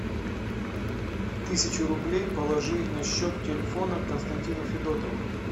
тысячу рублей положи на счет телефона константину федотову